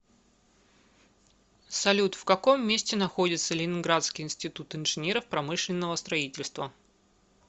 салют в каком месте находится ленинградский институт инженеров промышленного строительства